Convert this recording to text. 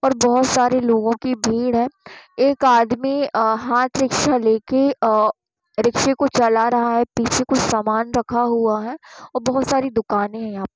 और बहुत सारे लोगों की भीड़ है। एक आदमी अ- हाथ रिक्शा लेके अ- रिक्शा को चला रहा है। पीछे कुछ सामान रखा हुआ है और बहुत सारी दुकाने हैं यहाँ --